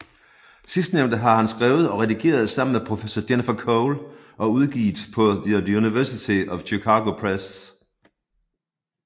Sidstnævnte har han skrevet og redigeret sammen med professor Jennifer Cole og udgivet på The University of Chicago Press